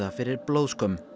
fyrir blóðskömm